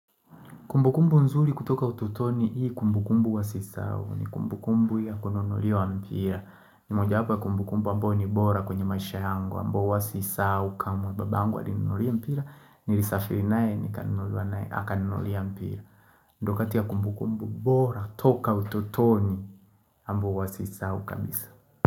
Kumbukumbu nzuri kutoka ututoni hii kumbukumbu huwa sisao ni kumbukumbu ya kununuliwa mpira. Ni mojawapo wa kumbukumbu ambao ni bora kwenye maisha yangu ambao huwa sisahao kamwe babangu alininunulia mpira, nilisafiri nae nikanunuliwa nae, akaninunulia mpira. Ndo kati ya kumbukumbu bora toka ututoni ambao huwa siisahao kabisa.